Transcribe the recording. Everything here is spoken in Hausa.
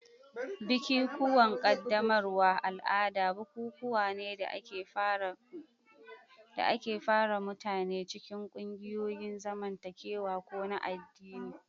Bikikuwan qaddamarwa al'ada bukukuwa ne da ke fara mutane cikin ƙungiyoyin zamantakewa ko na addini.